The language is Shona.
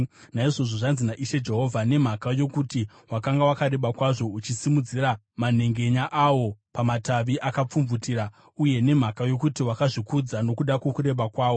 “ ‘Naizvozvo zvanzi naIshe Jehovha: Nemhaka yokuti wakanga wakareba kwazvo, uchisimudzira manhengenya awo pamatavi akapfumvutira, uye nemhaka yokuti wakazvikudza nokuda kwokureba kwawo,